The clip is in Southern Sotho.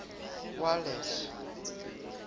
walles